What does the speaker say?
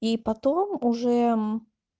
и потом уже